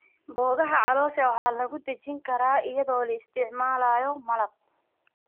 Boogaha caloosha waxaa lagu dejin karaa iyadoo la isticmaalayo malab.